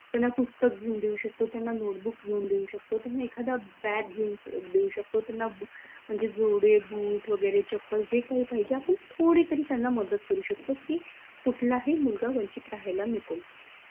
त्यांना पुस्तक घेऊन देऊ शकतो त्यांना notebook घेऊन देऊ शकतो त्यांना एखादा bag घेऊन देऊ शकतो त्यांना म्हनजे जोडे boot वगैरे चप्पल जे काही पाहिजे आपन थोडे तरी त्यांना मदत करू शकतो की, कुठलाही मुलगा वंचित राहायला नको